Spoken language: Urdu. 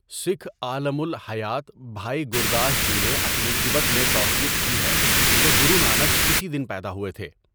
سکھ عالم الٰہیات بھائی گورداس جی نے اپنی 'کبِت' میں توثیق کی ہے کہ گرو نانک اسی دن پیدا ہوئے تھے۔